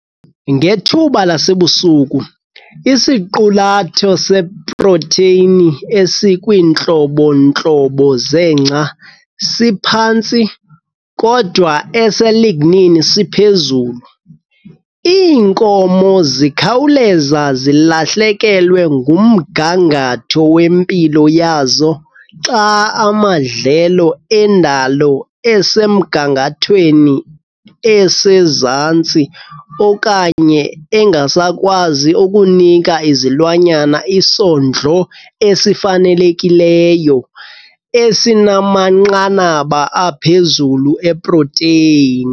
Ngethuba lasebusika, isiqulatho seprotheyini esikwiintlobo-ntlobo zengca siphantsi kodwa ese-lignin siphezulu. Iinkomo zikhawuleza zilahlekelwe ngumgangatho wempilo yazo xa amadlelo endalo esemgangathweni osezantsi kwaye engasakwazi ukunika izilwanyana isondlo esifanelekileyo esinamanqanaba aphezulu eprotheyini.